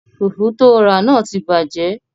Fùfú tóo rà náà ti bàjẹ́